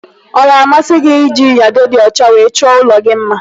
Ọ ga-amasị gị ịji nyado dị ọcha wee chọọ ụlọ gị mma?